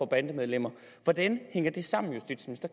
bandemedlemmer hvordan hænger det sammen kan